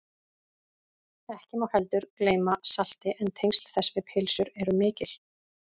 ekki má heldur gleyma salti en tengsl þess við pylsur eru mikil